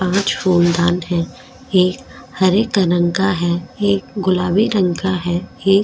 पांच फूलदान है एक हरे का रंग का है एक गुलाबी रंग का है एक --